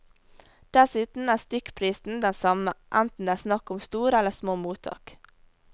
Dessuten er stykkprisen den samme, enten det er snakk om store eller små mottak.